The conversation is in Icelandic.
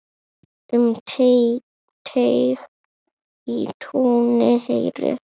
Um teig í túni heyri.